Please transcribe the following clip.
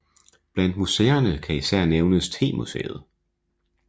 Blandt museerne kan især nævnes temuseet